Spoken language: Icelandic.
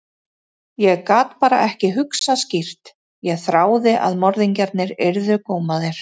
Ég gat bara ekki hugsað skýrt, ég þráði að morðingjarnir yrðu gómaðir.